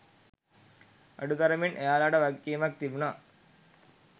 අඩුතරමින් එයාලාට වගකීමක් තිබුණා